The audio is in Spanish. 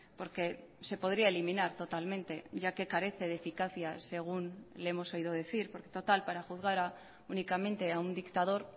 porque se podría eliminar totalmente ya que carece de eficacia según le hemos oído decir porque total para juzgar únicamente a un dictador